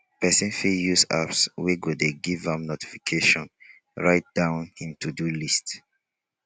person fit use apps wey go dey give am notification write down im to-do list